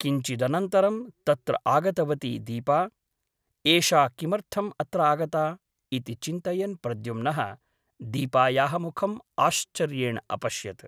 किञ्चिदनन्तरं तत्र आगतवती दीपा । एषा किमर्थम् अत्र आगता ? इति चिन्तयन् प्रद्युम्नः दीपायाः मुखम् आश्चर्येण अपश्यत् ।